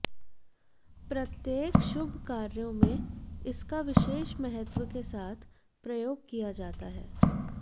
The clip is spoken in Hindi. प्रत्येक शुभ कार्यों में इसका विशेष महत्व के साथ प्रयोग किया जाता है